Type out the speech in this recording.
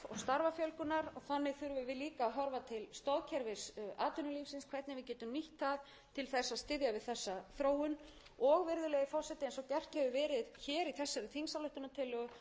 að horfa til stoðkerfis atvinnulífsins hvernig við getum nýtt það til þess að styðja við þessa þróun og virðulegi forseti eins og gert hefur verið hér í þessari þingsályktunartillögu skiptir mjög miklu